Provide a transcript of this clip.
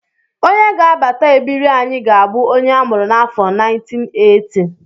Onye ga-abata ebiri anyị ga-abụ onye a mụrụ n'afọ 1980